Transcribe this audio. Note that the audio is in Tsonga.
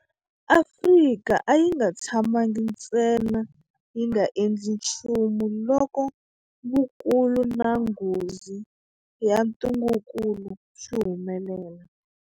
Afrika a yi nga tshamangi ntsena yi nga endli nchumu loko vukulu na nghozi ya ntungukulu swi humelela.